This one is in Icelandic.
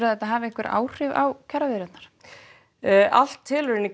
þetta hafi áhrif á kjaraviðræðurnar allt telur inn í